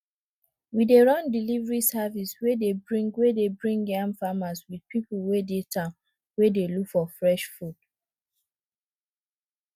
we dey run delivery service wey dey bring wey dey bring yam farmers with people wey dey town wey dey look for fresh food